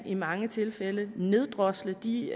i mange tilfælde kan neddrosle de